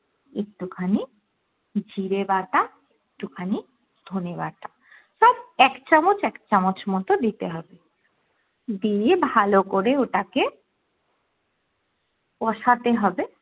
একটু খানি জিরে বাটা, একটু খানি ধনে বাটা সব এক চামচ এক চামচ মতো দিতে হবে দিয়ে ভালো করে ওটাকে কষাতে হবে